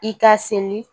I ka seli